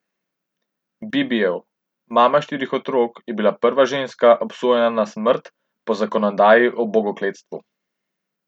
Bibijev, mama štirih otrok, je bila prva ženska, obsojena na smrt po zakonodaji o bogokletstvu.